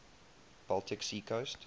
baltic sea coast